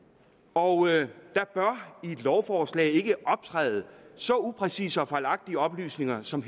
og der bør i et lovforslag ikke optræde så upræcise og fejlagtige oplysninger som